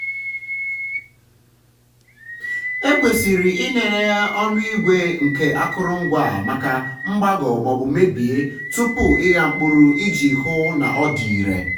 ekwesịrị ịlele ọnụ igwe nke akụrụngwa a maka mgbagọ maọbụ mebie tupu ịgha mkpụrụ iji hụ na ọ dị irè.